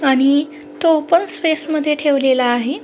आणि तो पण स्पेस मध्ये ठेवलेला आहे.